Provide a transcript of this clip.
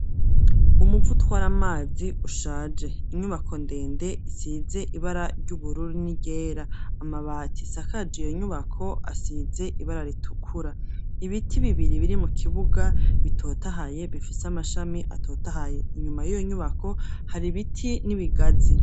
Umuvo utwari amazi ushaje, inyubako ndende isize ibara ry'ubururu n'iryera amabati asakagi iyo nyubako asize ibara ritukura ibiti bibiri biri mu kibuga bitotahaye bifise amashami atotahaye, inyuma y'iyo nyubako hari biti n'ibigazi.